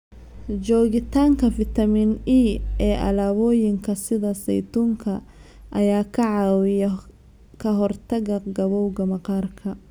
Joogitaanka fitamiin E ee alaabooyinka sida saytuunka ayaa ka caawiya ka hortagga gabowga maqaarka.